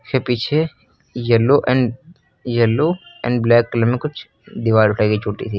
उसके पीछे yellow and yellow and black colour में कुछ दीवार उठाई गई है छोटी सी।